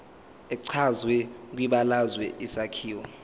echazwe kwibalazwe isakhiwo